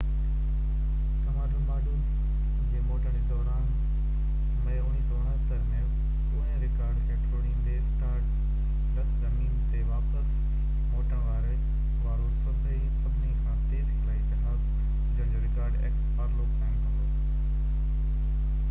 Apollo x commander module جي موٽڻ جي دوران مئي 1969 ۾ پوئين رڪارڊ کي ٽوڙيندي اسٽار ڊسٽ زمين تي واپس موٽڻ وارو سڀني کان تيز خلائي جهاز هجڻ جو رڪارڊ قائم ڪندو